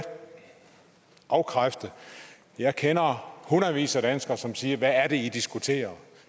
afkræfte jeg kender hundredvis af danskere som siger hvad er det i diskuterer